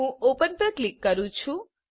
હું ઓપન પર ક્લિક કરુછું